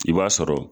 I b'a sɔrɔ